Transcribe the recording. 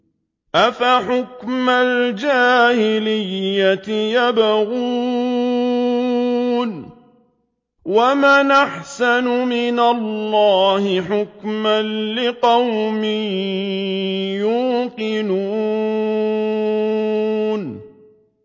أَفَحُكْمَ الْجَاهِلِيَّةِ يَبْغُونَ ۚ وَمَنْ أَحْسَنُ مِنَ اللَّهِ حُكْمًا لِّقَوْمٍ يُوقِنُونَ